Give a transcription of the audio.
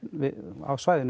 á svæðinu